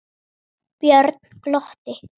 Björn glotti.